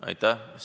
Aitäh!